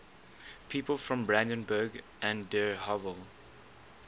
people from brandenburg an der havel